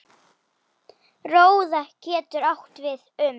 Róða getur átt við um